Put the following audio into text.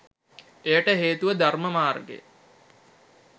එයට හේතුව ධර්ම මාර්ගය